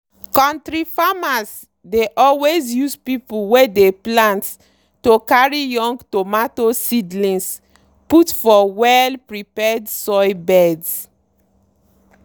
kontri farmers dey always use people wey dey plant to carry young tomato seedlings put for well-prepared soil beds.